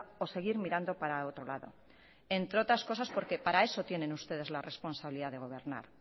o seguir mirando para otro lado entre otras cosas porque para eso tienen ustedes la responsabilidad de gobernar